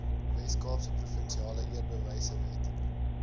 weskaapse provinsiale eerbewysewet